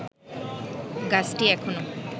গাছটি এখনো